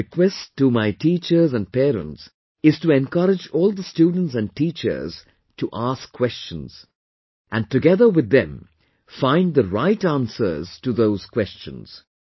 My request to my teachers and parents is to encourage all the students and children to ask questions and together with them find the right answers to those questions